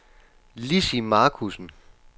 Lizzie Markussen